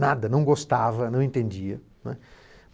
Nada, não gostava, não entendia não é.